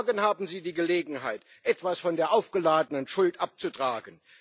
Morgen haben Sie die Gelegenheit, etwas von der aufgeladenen Schuld abzutragen.